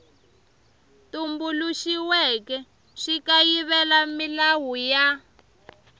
tumbuluxiweke xi kayivela milawu ya